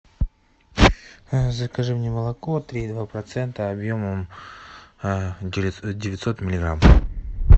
закажи мне молоко три и два процента объемом девятьсот миллиграмм